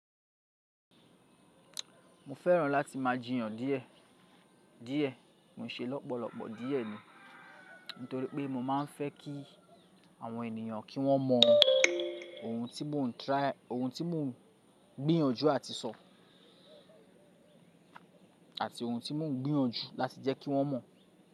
Mo fẹ́ràn láti máa jiyàn díẹ̀, díẹ̀, ko n ṣe lọ́pọ̀lọpọ̀ díẹ̀ ni, nítorí pé mo máa ń fẹ́ kí àwọn ènìyàn kí wọ́n mọ ohun tí mò ń gbìyànjú àti sọ, àti ohun tí mò ń gbìyànjú láti jẹ́ kí wọ́n mọ̀